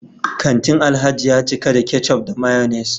kantin Alhaji ya cika da ketchup da mayonnaise